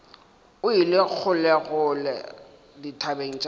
o ile kgolekgole dithabeng tša